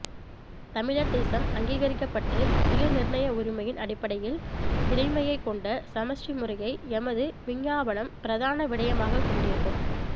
தமிழர்தேசம் அங்கீகரிக்கப்பட்டு சுயநிர்ணய உரிமையின் அடிப்படையில் இறைமையைக் கொண்ட சமஸ்டி முறையை எமது விஞ்ஞாபனம் பிரதான விடயமாகக் கொண்டிருக்கும்